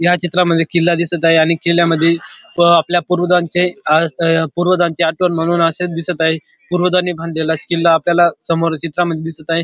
या चित्रामध्ये किल्ला दिसत आहे आणि किल्ल्यामध्ये आपल्या पूर्वजांचे अ पूर्वजांचे आठवण म्हणून असेच दिसत आहे पूर्वजाणी बांधलेला किल्ला आपल्याला समोरच्या चित्रामध्ये दिसत आहे.